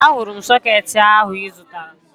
Ee, ahụrụ m sọkeetị ahụ ị zụtara